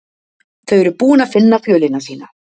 þau eru búin að finna fjölina sína